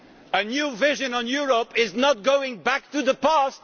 A new vision on Europe does not mean going back to the past.